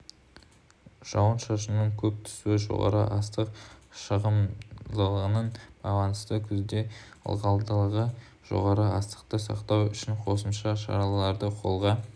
жауын-шашынның көп түсуі жоғары астық шығымдылығына байланысты күзде ылғалдылығы жоғары астықты сақтау үшін қосымша шараларды қолға